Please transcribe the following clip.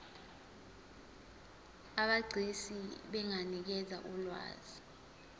abegcis benganikeza ulwazi